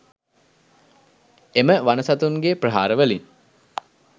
එම වන සතුන්ගේ ප්‍රහාරවලින්